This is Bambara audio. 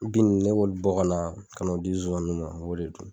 nin ne ki o de don